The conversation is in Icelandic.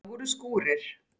Það voru skúrir.